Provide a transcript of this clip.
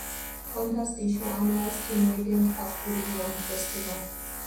hunters dey show animal skin wey dem catch during yam festival